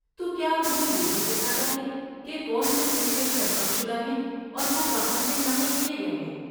تو کیا وہ یہ بھی دکھاتا ہے کہ کون سے حصے سرقہ شدہ ہیں اور وہ کہاں سے نقل کیے گئے ہیں؟